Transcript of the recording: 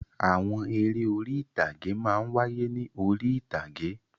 Àwọn eré orí-ìtàgé máa ń wáyé ní orí-ìtàgé.